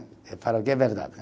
Eu falo que é verdade.